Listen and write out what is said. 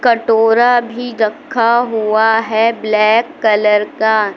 कटोरा भी रखा हुआ है ब्लैक कलर का।